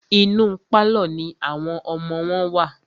Inú pálọ̀ ní àwọn ọmọ wọn wà.